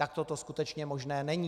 Takto to skutečně možné není.